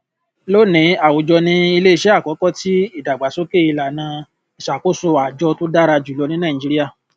lónìí àwùjọ ni iléiṣẹ àkọkọ tí ìdàgbàsókè ìlànà ìṣàkóso àjọ tó dára jùlọ ní nàìjíríà